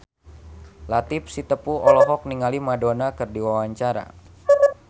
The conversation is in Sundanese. Latief Sitepu olohok ningali Madonna keur diwawancara